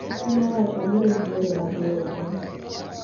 Piny owacho obiro gi yore mabeyo igani